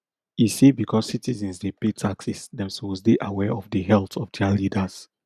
e say becos citizens dey pay taxes dem suppose dey aware of di health of dia leaders